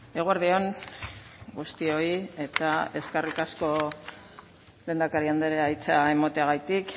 eguerdi on guztioi eta eskerrik asko lehendakari andrea hitza emateagatik